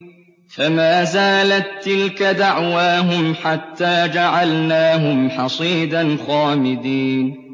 فَمَا زَالَت تِّلْكَ دَعْوَاهُمْ حَتَّىٰ جَعَلْنَاهُمْ حَصِيدًا خَامِدِينَ